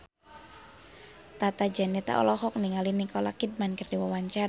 Tata Janeta olohok ningali Nicole Kidman keur diwawancara